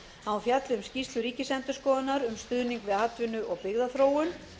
að hún fjalli um skýrslu ríkisendurskoðunar um stuðning við atvinnu og byggðaþróun